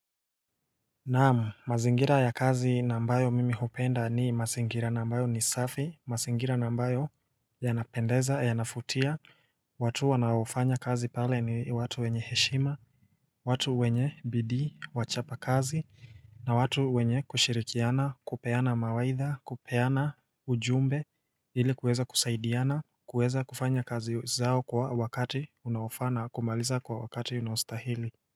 Na'am, mazingira ya kazi nambayo mimi hupenda ni mazingira nambayo ni safi mazingira nambayo Yanapendeza yanavutia, watu wanaofanya kazi pale ni watu wenye heshima. Watu wenye bidii, wachapa kazi na watu wenye kushirikiana kupeana mawaidha kupeana ujumbe. Ili kuweza kusaidiana kuweza kufanya kazi zao kwa wakati unaofaa na kumaliza kwa wakati unaostahili.